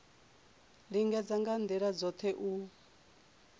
lingedza nga ndila dzothe u